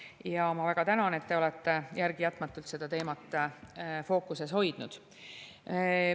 Ja ma väga tänan, et te olete järelejätmatult seda teemat fookuses hoidnud.